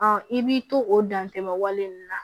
i b'i to o dantɛmɛ wale ninnu na